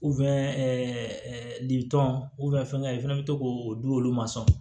fɛnkɛ i fɛnɛ bɛ to k'o di olu ma sɔn